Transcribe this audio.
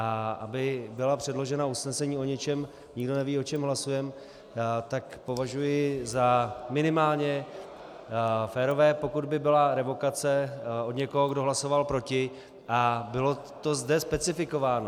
A aby byla předložena usnesení o ničem, nikdo neví, o čem hlasujeme, tak považuji za minimálně férové, pokud by byla revokace od někoho, kdo hlasoval proti, a bylo to zde specifikováno.